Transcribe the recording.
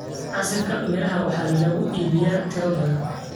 Casiirka miraha waxaa lagu iibiyaa tiro badan.